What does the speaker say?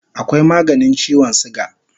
Akwai maganin chiwon suga